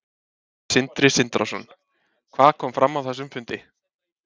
Sindri Sindrason: Hvað kom fram á þessum fundi?